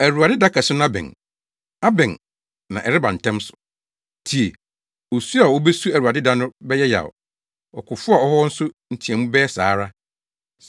Awurade da kɛse no abɛn, abɛn na ɛreba ntɛm so. Tie! Osu a wobesu Awurade da no bɛyɛ yaw, ɔkofo a ɔwɔ hɔ nso nteɛmu bɛyɛ saa ara.